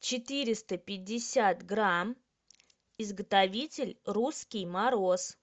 четыреста пятьдесят грамм изготовитель русский мороз